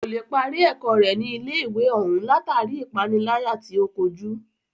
Kò lè parí ẹ̀kọ́ rẹ̀ ní ilé ìwé òún látàri ipániláyà tí o kojú.